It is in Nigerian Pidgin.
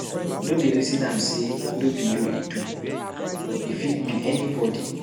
No dey resin am sey no be you e do, e fit be anybodi.